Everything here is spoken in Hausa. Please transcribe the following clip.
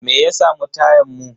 Me ya samu tayan mu?